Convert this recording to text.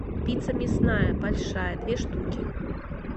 пицца мясная большая две штуки